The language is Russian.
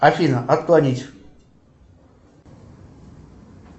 афина отклонить